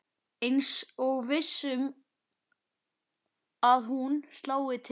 Eins og viss um að hún slái til.